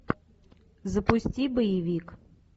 запусти боевик